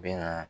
Bɛna